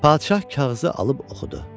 Padşah kağızı alıb oxudu.